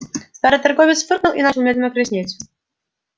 старый торговец фыркнул и начал медленно краснеть